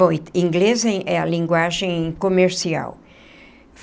Bom, inglês é a linguagem comercial.